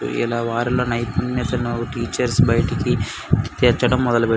ఇలా వారిలో నానైపుణ్యతాను టీచర్స్ బయటికి తీర్చడం మొదలు పేట --